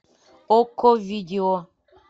окко видео